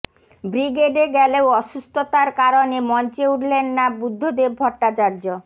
ব্রিগেডে গেলেও অসুস্থতার কারণে মঞ্চে উঠলেন না বুদ্ধদেব ভট্টাচার্য